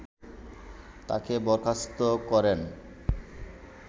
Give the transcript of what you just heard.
তাকে বরখাস্ত করেন